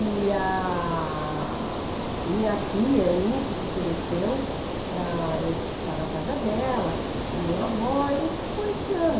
E a... a minha tia, Eunice, se ofereceu para eu ficar na casa dela, a minha avó, e ficou esse ano.